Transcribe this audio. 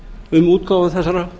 um útgáfu þessara